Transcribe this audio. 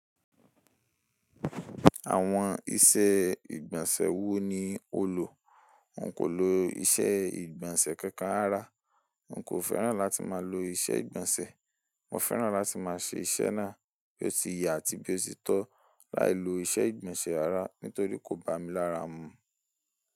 Àwọn ìṣee ìgbọ̀nsẹ̀ wo ni o lò? N kò lo ìṣe ìgbọ̀nsẹ̀ kankan rárá. N kò fẹ́ràn láti máa lo ìṣe ìgbọ̀nsẹ̀. Mo fẹ́ràn láti máa ṣẹ iṣẹ́ náà bí ó ti yẹ àti bí ó ti tọ láì lo ìṣe ìgbọ̀nsẹ̀ rara nítorí kò bá mi lára mu.